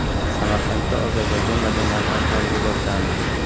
Samarqandda Ozarbayjon madaniyati haftaligi boshlandi.